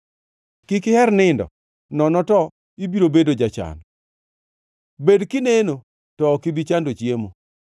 Kik iher nindo nono to ibiro bedo jachan, bed kineno to ok ibi chando chiemo.